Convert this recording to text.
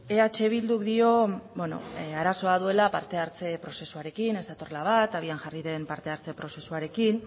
eh bilduk dio arazoa duela parte hartze prozesuarekin ez datorrela bat abian jarri den parte hartze prozesuarekin